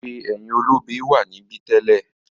“ewé ẹ̀yìn olobe” wà níbí to.